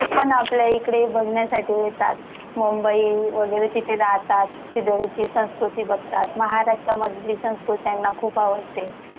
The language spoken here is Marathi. आपल्या इकडे बघण्यासाठी येतात. मुंबई वगैरे तिथे जातात. ती संस्कृती बघतात, महाराष्ट्रामधली संस्कृती त्याना खुप आवडते.